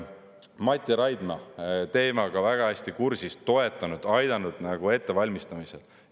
Mati Raidma on teemaga väga hästi kursis, toetanud, aidanud ettevalmistamisel.